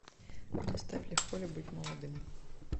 поставь легко ли быть молодым